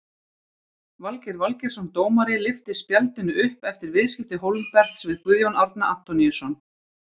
Valgeir Valgeirsson dómari lyfti spjaldinu upp eftir viðskipti Hólmberts við Guðjón Árna Antoníusson.